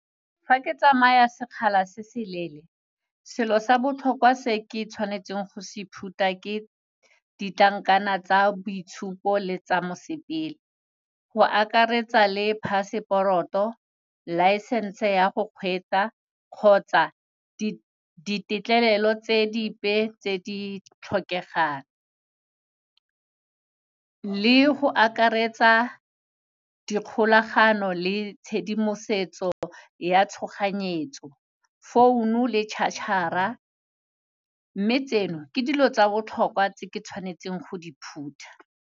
Fa ke tsamaya sekgala se seleele, selo sa botlhokwa se ke tshwanetseng go se phutha ke ditlankana tsa boitshupo le tsa mosepele, go akaretsa le passport-o, licence-e ya go kgwetsa kgotsa ditetlelelo tse dipe tse di tlhokegang, le go akaretsa dikgolagano le tshedimosetso ya tshoganyetso, founo le charger-a, mme tseno ke dilo tsa bohlokwa tse ke tswanetseng go di phutha.